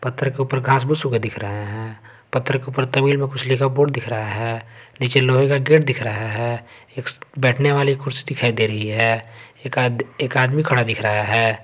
पत्थर के ऊपर घास फूस ऊगे दिख रहे हैं पत्थर के ऊपर तमिल में कुछ लिखा बोर्ड दिख रहा है नीचे लोहे का गेट दिख रहा है एक बैठने वाली कुर्सी दिखाई दे रही है एक आद आदमी खड़ा दिख रहा है।